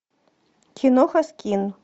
киноха скин